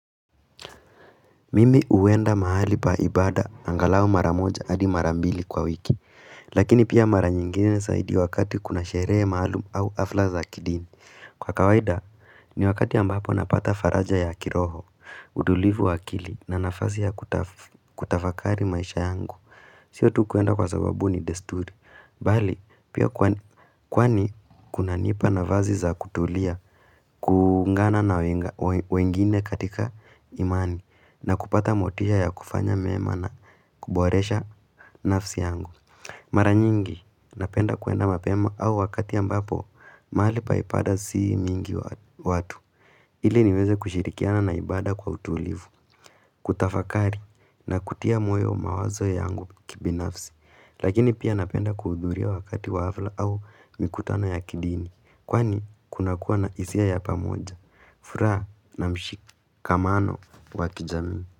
Mimi huenda mahali pa ibada, angalau mara moja hadi mara mbili kwa wiki Lakini pia mara nyingine zaidi wakati kuna sherehe mahali au hafla za kidini Kwa kawaida, ni wakati ambapo napata faraja ya kiroho, utulivu wa akili na nafasi ya kutafakari maisha yangu Sio tu kuenda kwa sababu ni desturi Bali, pia kwani kunanipa nafasi za kutulia kuungana na wengine katika imani na kupata motisha ya kufanya mema na kuboresha nafsi yangu Mara nyingi napenda kuenda mapema au wakati ambapo mahali pa ibada si mingi watu ili niweze kushirikiana na ibada kwa utulivu kutafakari na kutia moyo mawazo yangu kibinafsi Lakini pia napenda kuhudhuria wakati wa hafla au mikutano ya kidini Kwani kuna kuwa na hisia ya pamoja furaha na mshikamano wa kijamii.